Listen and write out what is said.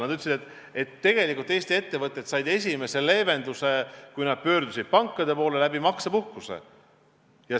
Nad ütlesid, et tegelikult Eesti ettevõtted said esimese leevenduse, kui nad pöördusid pankade poole, maksepuhkuse abil.